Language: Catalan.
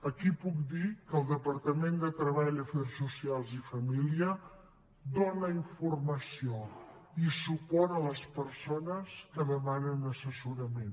aquí puc dir que el departament de treball afers socials i famílies dóna informació i suport a les persones que demanen assessorament